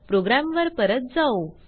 program वर परत जाऊ